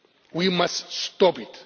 We must stop